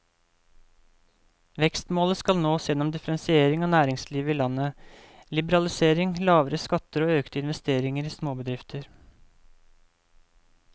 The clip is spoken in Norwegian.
Vekstmålet skal nås gjennom differensiering av næringslivet i landet, liberalisering, lavere skatter og økte investeringer i småbedrifter.